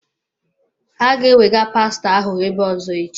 Ha ga-ẹwega pastọ ahụ ebe ọ̀zọ́ echi.